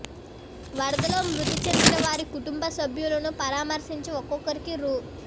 వరదల్లో మృతి చెందిన వారి కుటుంబ సభ్యులను పరామర్శించి ఒక్కొక్కరికి రూ